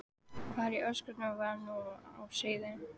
Hvað í ósköpunum var nú á seyði?